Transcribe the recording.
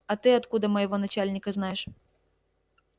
а ты откуда моего начальника знаешь